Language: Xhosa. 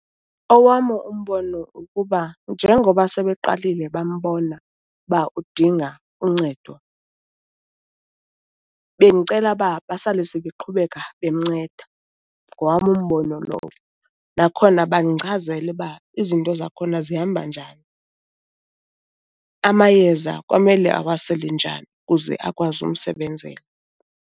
Owam umbono kukuba njengoba sebeqalile bambona uba udinga uncedo bendicela uba basale sebeqhubeka bemnceda, ngowam umbono lowo. Nakhona bandichazele uba izinto zakhona zihamba njani, amayeza kwamele awasele njani kuze akwazi umsebenzela.